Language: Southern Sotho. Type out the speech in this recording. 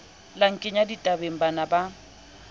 la nkenya ditabeng bana ba